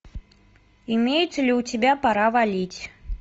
имеется ли у тебя пора валить